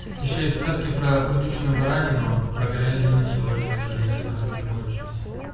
ещё из сказки про курдючная баранину про говядину сегодня к сожалению сказки закончились